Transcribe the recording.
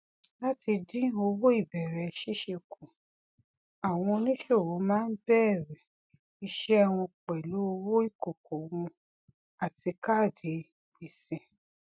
láti dín owó ìbẹrẹ ṣíṣe kù àwọn oníṣòwò máa ń bẹrẹ iṣẹ wọn pẹlú owó ìkòkò wọn àti kaadi gbèsè